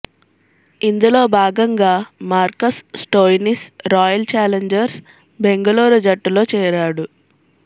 ఇందులో భాగంగా Marcus Stoinis Royal Challengers Bengaluru జట్టులో చేరాడు